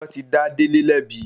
Wọ́n ti dá Délé lẹ́bi.